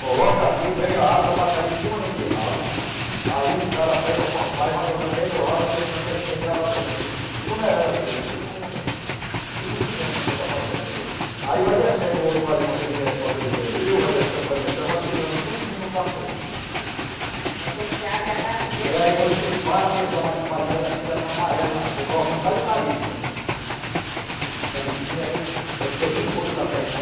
coloca aqui e vem a água para cair em cima daquele ralo aí um cara pega com a pá e vai jogando dentro do ralo aí você fica mexendo e a água de, eh, de, desonerando aquilo, tipo um, tipo um cimento quando você está fazendo aí ti, aí vai descendo o ouro para ali com aquele esme, com aquele esmeril vai descendo, vai descendo, vai segurando tudinho no carpete. Aí quando você abre a caixa dele. É aí quando você para, você dá uma limpadinha, olha assim chega está amarelo na, você coloca um bocado de tarisca, as tarisquinha aí quando tem muito ouro que a terra é